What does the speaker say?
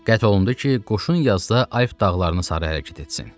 Qət olundu ki, qoşun yazda Ayb dağlarını sarı hərəkət etsin.